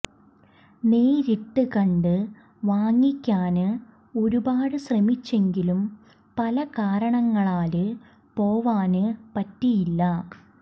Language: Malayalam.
നേരിട്ട് കണ്ട് വാങ്ങിക്കാന് ഒരുപാട് ശ്രമിച്ചെങ്കിലും പല കാരണങ്ങളാല് പോവാന് പറ്റിയില്ല